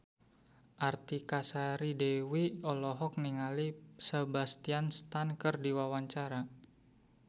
Artika Sari Devi olohok ningali Sebastian Stan keur diwawancara